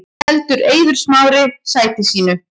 Heldur Eiður Smári sæti sínu